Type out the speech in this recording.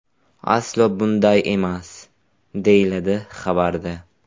Aslo bunday emas”, deyiladi xabarda.